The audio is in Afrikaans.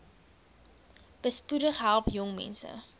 besp help jongmense